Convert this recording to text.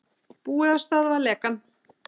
Búið að stöðva lekann